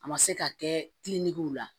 A ma se ka kɛ la